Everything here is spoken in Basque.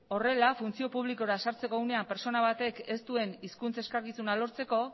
horrela funtzio publikora sartzeko unea pertsona batek ez duen hizkuntz eskakizuna lortzeko